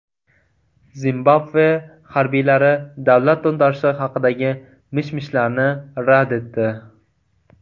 Zimbabve harbiylari davlat to‘ntarishi haqidagi mish-mishlarni rad etdi.